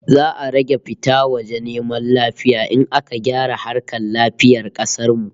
Za'a rage fita waje neman lafiya in aka gyara harkar lafiyar kasar mu